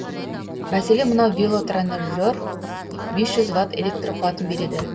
мәселен мынау велотренажер бес жүз ватт электр қуатын береді